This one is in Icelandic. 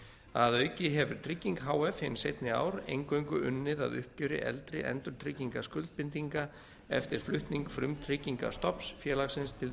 að auki hefur trygging h f hin seinni ár eingöngu unnið að uppgjöri eldri endurtryggingaskuldbindinga eftir flutning frumtryggingastofns félagsins til